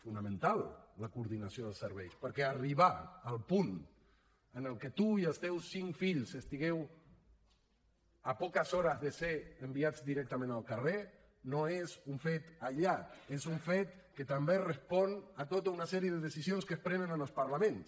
fonamental la coordinació dels serveis perquè arribar al punt en el que tu i els teus cinc fills estigueu a poques hores de ser enviats directament al carrer no és un fet aïllat és un fet que també respon a tota una sèrie de decisions que es prenen en els parlaments